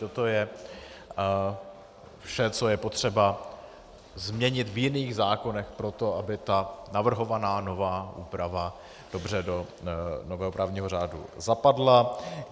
Toto je vše, co je potřeba změnit v jiných zákonech proto, aby ta navrhovaná nová úprava dobře do nového právního řádu zapadla.